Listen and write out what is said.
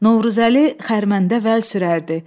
Novruzəli xərməndə vəl sürərdi.